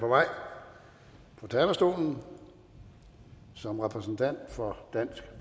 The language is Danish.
på vej på talerstolen som repræsentant for dansk